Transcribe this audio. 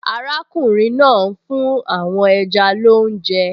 Arákùnrin náà ń fún àwọn ẹja lóúnjẹ